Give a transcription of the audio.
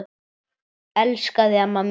Elska þig amma mín.